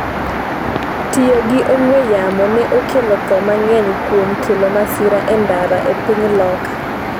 Tiyo gi ong'we yamo ne okelo tho mang’eny kuom kelo masira e ndara e piny Loka